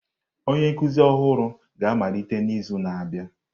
Onye nkuzi ọhụrụ ga-amalite n'izu na-abịa.